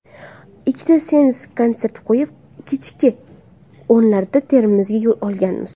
Ikkita seans konsert qo‘yib, kechki o‘nlarda Termizga yo‘l olganmiz.